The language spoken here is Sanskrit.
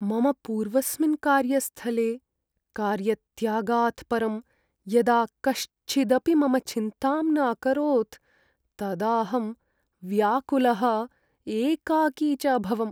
मम पूर्वस्मिन् कार्यस्थले कार्यत्यागात् परं यदा कश्चिदपि मम चिन्तां न अकरोत् तदाहं व्याकुलः एकाकी च अभवम्।